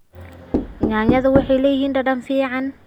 Yaanyada waxay leeyihiin dhadhan fiican.